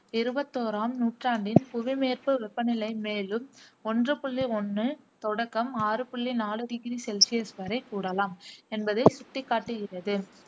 இருபத்தோறாம் நூற்றாண்டின் புவி மேற்பு வெப்பநிலை மேலும் ஒன்று புள்ளி ஒண்ணு தொடக்கம் ஆறு புள்ளி நாலு டிகிரி செல்சியஸ் வரை கூடலாம் என்பதை சுட்டிக் காட்டுகிறது.